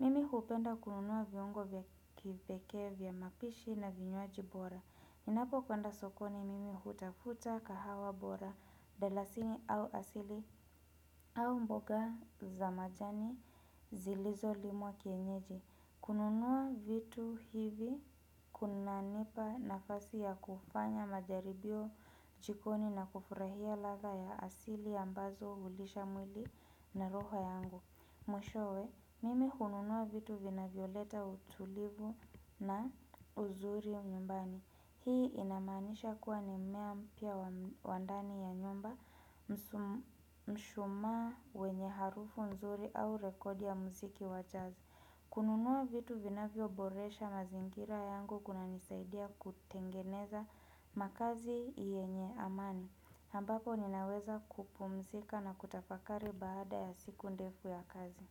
Mimi hupenda kununuwa viongo vya kipeke vya mapishi na vinyoaji bora Inapo kwenda sokoni mimi hutafuta kahawa bora Delasini au asili au mboga za majani zilizolimwa kienyeji kununuwa vitu hivi kunanipa nafasi ya kufanya majaribio jikoni na kufurahia laga ya asili ambazo hulisha mwili na roho yangu Mwishowe, mimi kununua vitu vinavyoleta utulivu na uzuri mnyumbani. Hii inamanisha kuwa nimea mpya wa ndani ya nyumba mshumaa wenye harufu mzuri au rekodi ya mziki wachazi. Kununua vitu vinavyo boresha mazingira yangu kuna nisaidia kutengeneza makazi yenye amani. Ambapo ninaweza kupumzika na kutafakari baada ya siku ndefu ya kazi.